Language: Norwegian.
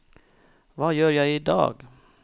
hva gjør jeg idag